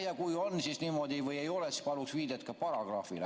Ja kui niimoodi on või ei ole, siis paluks viidet ka paragrahvile.